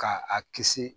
Ka a kisi